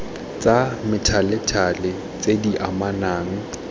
tsa methalethale tse di anamang